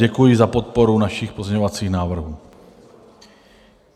Děkuji za podporu našich pozměňovacích návrhů.